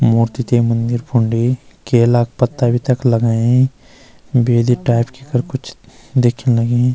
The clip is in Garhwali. मूर्ति ते मंदिर फुंडी केला क पत्ता भी तख लगाई बेदी टाइप की कर कुछ दिखेंण लगीं।